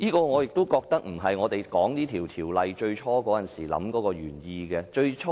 我覺得這並非這項條例最初訂立時的原意。